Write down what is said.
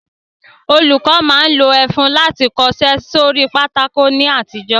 Olùkọ́ máa ń lo ẹfun láti fi kọṣẹ́ sórí pátákó ní àtijọ́